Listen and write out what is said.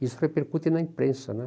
Isso repercute na imprensa, né?